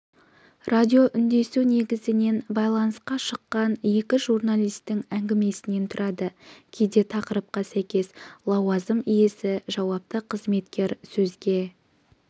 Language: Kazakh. радиоүндесу негізінен байланысқа шыққан екі журналистің әңгімесінен тұрады кейде тақырыпқа сәйкес лауазым иесі жауапты қызметкер сөзге